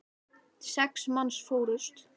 Sex manns fórust.